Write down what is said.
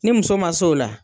Ni muso ma s'o la